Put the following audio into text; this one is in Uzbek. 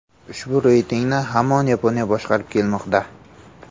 Ushbu reytingni hamon Yaponiya boshqarib kelmoqda.